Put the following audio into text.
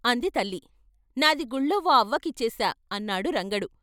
అంది తల్లి "నాది గుళ్లో ఓ అవ్వ కిచ్చేశా" అన్నాడు రంగడు.